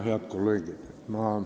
Head kolleegid!